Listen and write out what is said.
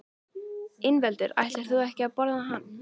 Ingveldur: Ætlar þú ekki að borða hann?